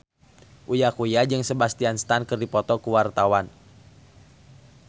Uya Kuya jeung Sebastian Stan keur dipoto ku wartawan